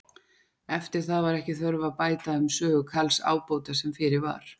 Eftir það var ekki þörf að bæta um sögu Karls ábóta sem fyrir var.